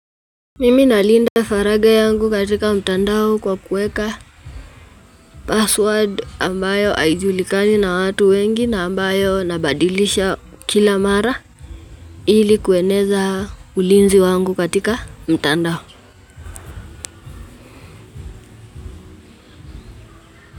Mimi nalinda faraga yangu katika mtandao kwa kuweka password ambayo aijulikani na watu wengi na ambayo nabadilisha kila mara ili kueneza ulinzi wangu katika mtandao.